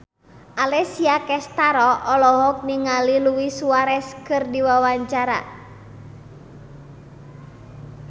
Alessia Cestaro olohok ningali Luis Suarez keur diwawancara